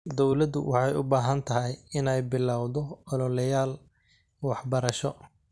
Dawladdu waxay u baahan tahay inay bilowdo ololeyaal waxbarasho.